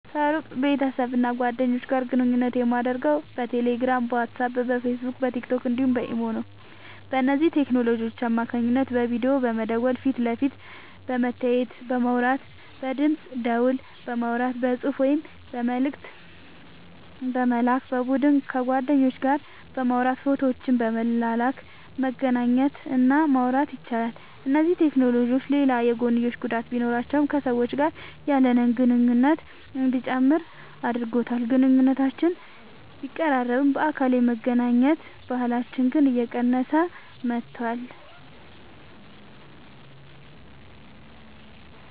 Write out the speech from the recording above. ከሩቅ ቤተሰብና ጓደኞች ጋር ግንኙነት የማደርገው በቴሌግራም፣ በዋትስአፕ፣ በፌስቡክና በቲክቶክ እንዲሁም በኢሞ ነው። በእነዚህ ቴክኖሎጂዎች አማካኝነት በቪዲዮ በመደወል ፊት ለፊት በመተያየትና በማውራት፣ በድምፅ ደወል በማውራት፣ በጽሑፍ ወይም መልእክት በመላክ፣ በቡድን ከጓደኞች ጋር በማውራት ፎቶዎችን በመላላክ መገናኘት እና ማውራት ይቻላል። እነዚህ ቴክኖሎጂዎች ሌላ የጐንዮሽ ጉዳት ቢኖራቸውም ከሰዎች ጋር ያለንን ግንኙነት እንዲጨምር አድርጎታል። ግንኙነቶችን ቢያቀራርብም፣ በአካል የመገናኘት ባህልን ግን እየቀነሰው መጥቷል።